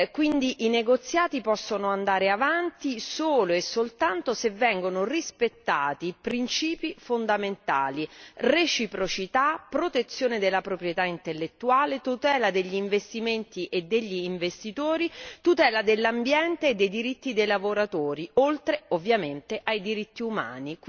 Quindi i negoziati possono andare avanti solo e soltanto se vengono rispettati i principi fondamentali reciprocità, protezione della proprietà intellettuale, tutela degli investimenti e degli investitori, tutela dell'ambiente e dei diritti dei lavoratori oltre ovviamente ai diritti umani.